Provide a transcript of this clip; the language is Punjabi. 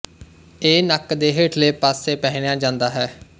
ਇਹ ਨੱਕ ਦੇ ਹੇਠਲੇ ਪਾਸੇ ਪਹਿਨਿਆ ਜਾਂਦਾ ਹੈ